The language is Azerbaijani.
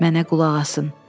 Mənə qulaq asın.